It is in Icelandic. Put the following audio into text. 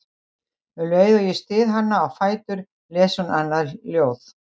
Um leið og ég styð hana á fætur les hún annað ljóð